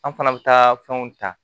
An fana bɛ taa fɛnw ta